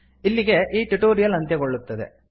ಇಲ್ಲಿಗೆ ಈ ಟ್ಯುಟೋರಿಯಲ್ ಅಂತ್ಯಗೊಳ್ಳುತ್ತದೆ